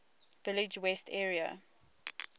village west area